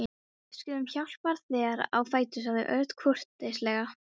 Við skulum hjálpa þér á fætur sagði Örn kurteislega.